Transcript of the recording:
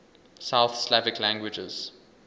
south slavic languages